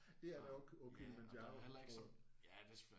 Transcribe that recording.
Det er der også på Kilimanjaro tror jeg